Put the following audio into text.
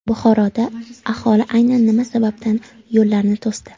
Buxoroda aholi aynan nima sababdan yo‘llarni to‘sdi?.